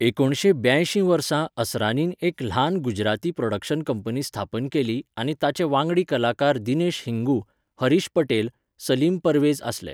एकुणशे ब्यांयशी वर्सा असरानीन एक ल्हान गुजराती प्रॉडक्शन कंपनी स्थापन केली आनी ताचे वांगडी कलाकार दिनेश हिंगू, हरीश पटेल, सलीम परवेज आसले.